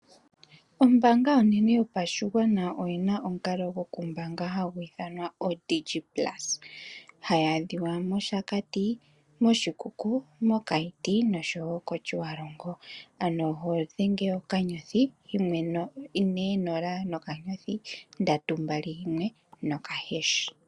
Ombaanga onene yopashigwana oyi na omukalo gwokumbanga hagu iithanwa oDigit Plus hayi adhika mOshakati, Oshikuku, Keetmanshoop osho wo Otjiwarongo ano oho dhenge *140*321#